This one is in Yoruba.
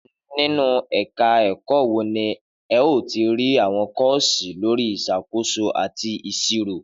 Nínú ẹ̀ka ẹ̀kọ́ wo ni ẹ ó ti rí àwọn kọ́ọ̀sì lórí ìṣàkóso àti ìṣirò?